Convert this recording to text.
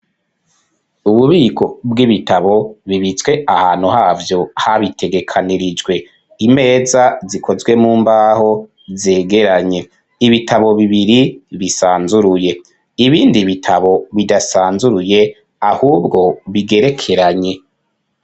Ububiko bw'ibitabo, bibitswe ahantu havyo, habitegekanirijwe; imeza, zikozwe mu mbaho, zegeranye; ibitabo bibiri, bisanzuruye; ibindi bitabo, bidasanzuruye, ahubwo, bigerekeranye.